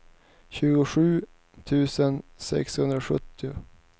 tjugosju tusen sexhundrasjuttio